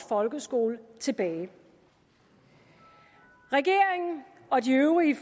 folkeskole tilbage regeringen og de øvrige